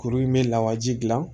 Kuru in bɛ lawaji gilan